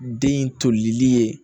Den in tolili ye